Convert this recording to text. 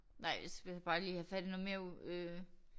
Nej vil jeg bare lige have fat i noget mere øh